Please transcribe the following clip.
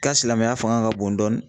Ka silamɛya fanga ka bon dɔɔni